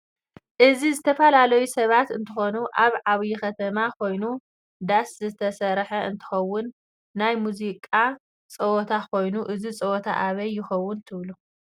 እዚ ዝተፈላሊዩ ሰባት እንትኮኑ አብ ዓብይ ከተማ ኮይኑ ደስ ዝተሰርሐ እንትኸውን ናይ መዝቃ ፀዘተ ኮይኑ እዚ ፀወታ አበይ ይከውን ትብሉ?